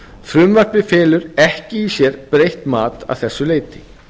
frumvarpið felur ekki í sér breytt mat að þessu leyti